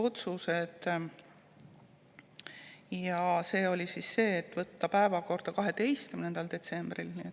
oli võtta päevakorda 12. detsembril.